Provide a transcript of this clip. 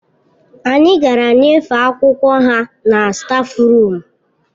Anyị gara nyefee akwụkwọ ha na stáfruum